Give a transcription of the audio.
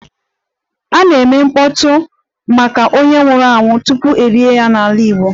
A na-eme mkpọtụ maka onye nwụrụ anwụ tupu e lie ya n'ala Igbo